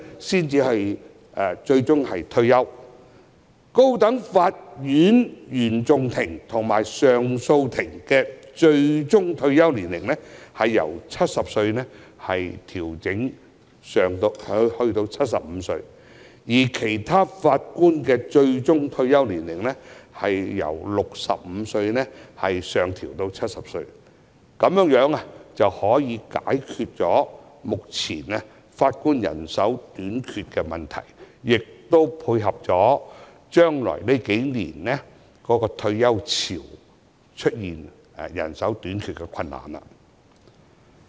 此外，高等法院原訟法庭及上訴法庭法官的最高退休年齡，建議由70歲提高至75歲，而其他法院法官的最高退休年齡由65歲上調至70歲，從而解決目前法官人手短缺的問題，以及未來數年因退休潮而出現人手短缺的困難。